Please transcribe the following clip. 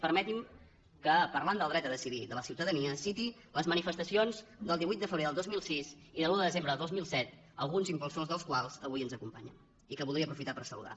permetinme que parlant del dret a decidir de la ciutadania citi les manifestacions del divuit de febrer del dos mil sis i de l’un de desembre de dos mil set alguns impulsors de les quals avui ens acompanyen i que voldria aprofitar per saludar